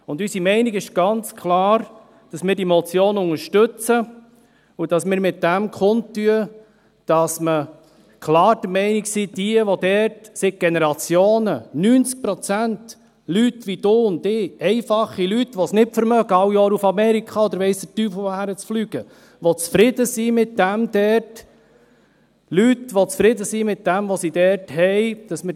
Unsere Meinung ist ganz klar, dass wir diese Motion unterstützen und dass wir damit kundtun, dass wir klar der Meinung sind, dass diejenigen, die dort seit Generationen … 90 Prozent Leute wie du und ich, einfache Leute, die es sich nicht leisten können, jedes Jahr nach Amerika oder weiss der Teufel wohin zu fliegen, Leute, die zufrieden sind mit dem, was sie dort haben …